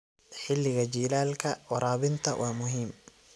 Xilliga jiilaalka, waraabinta waa muhiim.